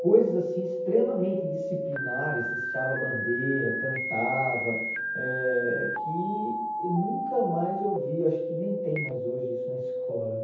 Coisas, assim, extremamente disciplinares, se hasteava a bandeira, cantava, eh que nunca mais eu vi, acho que nem tem mais hoje isso na escola, né?